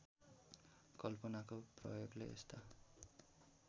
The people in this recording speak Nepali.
कल्पनाको प्रयोगले यस्ता